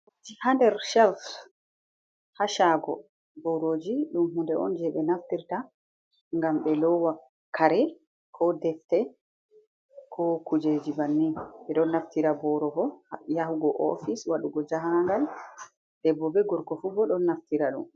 Ha nder shelf ha shago boroji ɗum hunde on je be naftirta ngam ɓe lowa kare ko defte ko kujeji banni ɓeɗon naftira boro bo yahugo ofis waɗugo jahangal debbo be gorgo fu bo ɗon naftira ɗum.